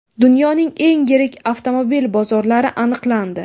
Dunyoning eng yirik avtomobil bozorlari aniqlandi.